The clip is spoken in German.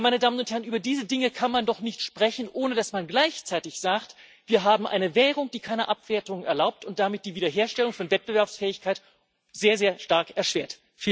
Ja, über diese Dinge kann man doch nicht sprechen, ohne dass man gleichzeitig sagt Wir haben eine Währung, die keine Abwertung erlaubt und damit die Wiederherstellung von Wettbewerbsfähigkeit sehr, sehr stark erschwert.